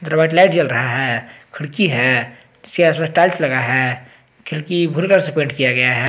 और white light जल रहा है खिड़की है टाइल्स लगा है खिड़की भूरे कलर से पेंट किया गया है।